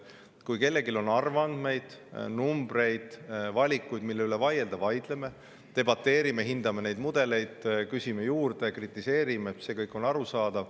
Kui kellelgi on arvandmeid, numbreid, valikuid, mille üle vaielda, siis vaidleme, debateerime, hindame mudeleid, küsime juurde, kritiseerime – see kõik on arusaadav.